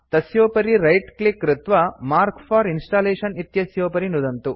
तस्योपरि right click कृत्वा mark for installation इत्यस्योपरि नुदन्तु